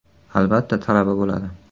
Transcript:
Albatta talaba bo‘ladi.